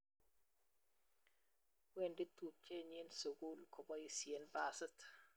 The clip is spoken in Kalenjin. wendi tubchenyin sukul koboisien basit